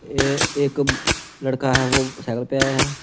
ये एक लड़का है वह साइकल पे आया है।